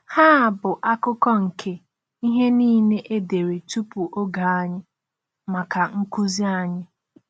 Ha bụ akụkụ nke “ihe niile e dere tupu oge anyị.... maka nkuzi anyị.”